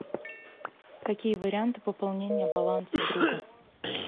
какие варианты пополнения баланса друга